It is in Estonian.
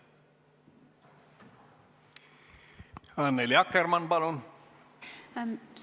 Annely Akkermann, palun!